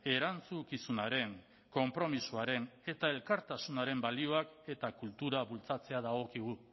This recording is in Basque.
erantzukizunaren konpromisoaren eta elkartasunaren balioak eta kultura bultzatzea dagokigu